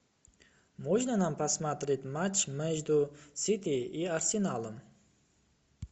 можно нам посмотреть матч между сити и арсеналом